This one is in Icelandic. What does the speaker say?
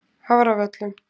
Hafravöllum